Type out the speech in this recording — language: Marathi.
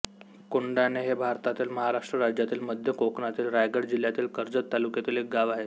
कोंढाणे हे भारतातील महाराष्ट्र राज्यातील मध्य कोकणातील रायगड जिल्ह्यातील कर्जत तालुक्यातील एक गाव आहे